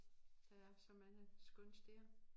Der er så mange skønne steder